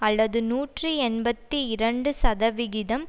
அல்லது நூற்றி எண்பத்தி இரண்டு சதவிகிதம்